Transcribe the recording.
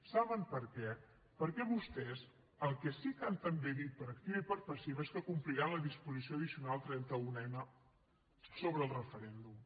saben per què perquè vostès el que sí que han també dit per activa i per passiva és que compliran la disposició addicional trenta unena sobre el referèndum